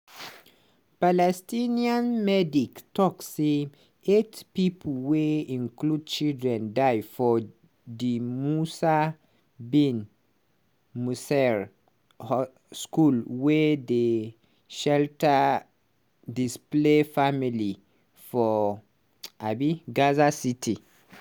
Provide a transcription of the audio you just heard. palestinian medics tok say eight pipo wey include children die for di musa bin nusayr co school wey dey shelter displaced families for um gaza city.